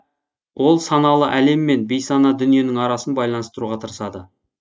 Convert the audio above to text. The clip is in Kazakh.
ол саналы әлем мен бейсана дүниенің арасын байланыстыруға тырысады